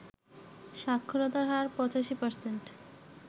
সাক্ষরতার হার ৮৫%